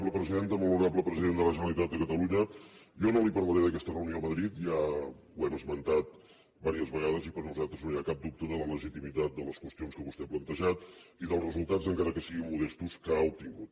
molt honorable president de la generalitat de catalunya jo no li parlaré d’aquesta reunió a madrid ja ho hem esmentat diverses vegades i per nosaltres no hi ha cap dubte de la legitimitat de les qüestions que vostè ha plantejat i dels resultats encara que siguin modestos que ha obtingut